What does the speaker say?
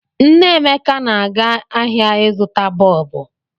Nne Emeka na-aga ahịa ịzụta bọọbụ.